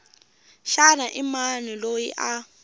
xana i mani loyi a